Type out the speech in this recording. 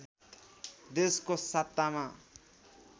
देशको सत्तामा